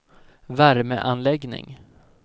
värmeanläggning